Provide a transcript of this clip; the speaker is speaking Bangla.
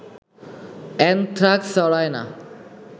অ্যানথ্রাক্স ছড়ায় না